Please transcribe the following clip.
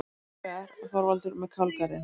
Hins vegar: Þorvaldur með kálgarðinn.